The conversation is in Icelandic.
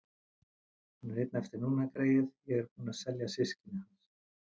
Hann er einn eftir núna, greyið, ég er búin að selja systkini hans.